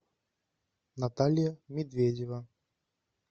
наталья медведева